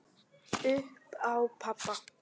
Upp á pabba.